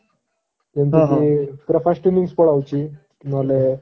ଯେମିତି କି ପୁରା first innings ପଳାଉଛି ନ ହେଲେ